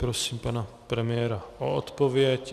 Prosím pana premiéra o odpověď.